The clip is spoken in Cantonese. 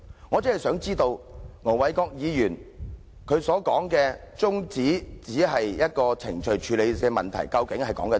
我只想知道，盧議員說他動議中止待續議案只是程序處理問題，究竟是甚麼意思？